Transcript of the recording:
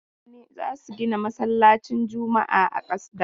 Mutane za su gina masallcin juma'a da kasa.